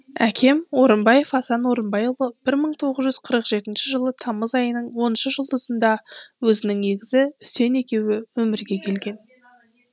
әкем орынбаев асан орынбайұлы бір мың тоғыз жүз қырық жетінші жылы тамыз айының оныншы жұлдызында өзінің егізі үсен екеуі өмірге келген